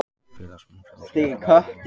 Félagsmenn Framsýnar fá afmælisgjöf